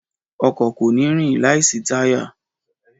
Ọkọ̀ kò ní rìn láìsí táyà